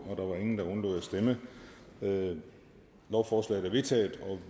stemte nul lovforslaget er vedtaget og